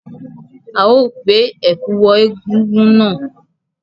A ó gbé ẹ̀kú wọ egúngún náà.